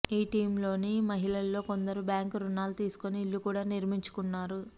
ఈ టీమ్లోని మహిళల్లో కొందరు బ్యాంకు రుణాలు తీసుకుని ఇళ్లు కూడా నిర్మించుకున్నారు